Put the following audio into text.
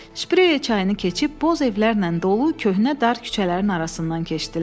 Şprey çayını keçib, boz evlərlə dolu köhnə dar küçələrin arasından keçdilər.